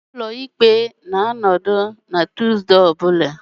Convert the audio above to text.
Ụlọ ikpe na-anọdụ na Tuesday ọ bụla